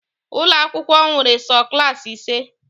Ụlọ akwụkwọ nwere sọ Klassị ise